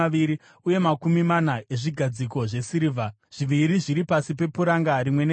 uye makumi mana ezvigadziko zvesirivha, zviviri zviri pasi pepuranga rimwe nerimwe.